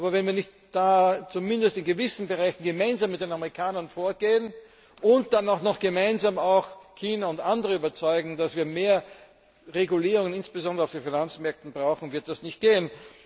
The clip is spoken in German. Aber wenn wir nicht zumindest in gewissen Bereichen gemeinsam mit den Amerikanern vorgehen und dann auch noch gemeinsam China und andere überzeugen, dass wir mehr Regulierung insbesondere auf den Finanzmärkten brauchen, wird das nicht gehen.